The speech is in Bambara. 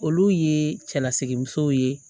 Olu ye cɛlasigi musow ye